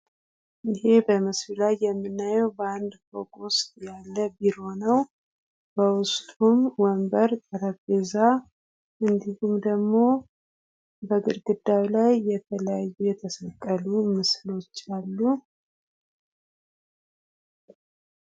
ይሄ በምስሉ ላይ የምናየው በአንድ ፎቅ ውስጥ ያለ ቢሮ ነው። በውስጡም ወንበር ፣ጠረጴዛ እንዲሁም ደግሞ በግድግዳ ላይ የተለያዩ የተሰቀሉ ምስሎች አሉ።